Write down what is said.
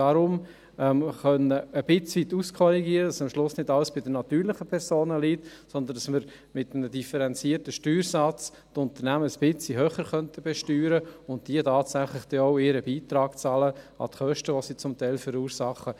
Deshalb muss man ein bisschen auskorrigieren können, damit am Schluss nicht alles bei den natürlichen Personen liegt, sondern damit man mit einem differenzierten Steuersatz die Unternehmen ein bisschen höher besteuern könnte und diese tatsächlich auch ihren Beitrag an die Kosten zahlen, welche sie zum Teil verursachen.